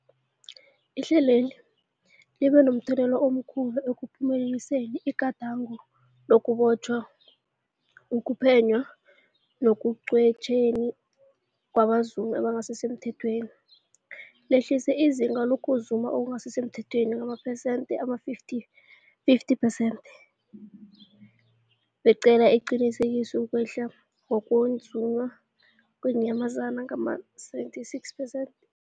Ihlelweli libe momthelela omkhulu ekuphumeleliseni igadango lokubotjhwa, ukuphenywa nekugwetjweni kwabazumi abangasisemthethweni, lehlisa izinga lokuzuma okungasi semthethweni ngamaphesenthe-50, 50 percent, belaqinisekisa ukwehla kokuzunywa kweenyamazana ngama-76 percent.